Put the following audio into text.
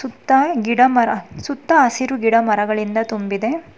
ಸುತ್ತ ಗಿಡ ಮರ ಸುತ್ತ ಹಸಿರು ಗಿಡ ಮರಗಳಿಂದ ತುಂಬಿದೆ